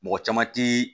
Mɔgɔ caman ti